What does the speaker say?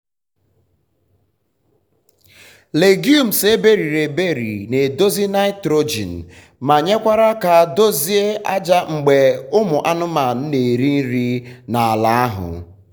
legumes eberiri eberi na edozi nitrogen ma nyekwara aka dozie aja mgbe ụmụ anụmanụ na eri nri na ala ahu